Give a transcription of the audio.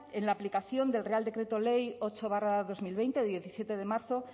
en la aplicación del real decreto ley ocho barra dos mil veinte de diecisiete de marzo